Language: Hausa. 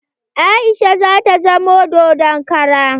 Aisha zata zama dodon kara